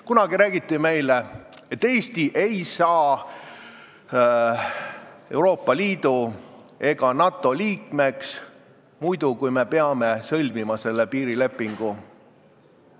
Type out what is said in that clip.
Kunagi räägiti meile, et Eesti ei saa Euroopa Liidu ega NATO liikmeks muidu, kui me peame selle piirilepingu sõlmima.